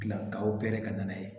Dilan ka o bɛɛ kɛ ka na n'a ye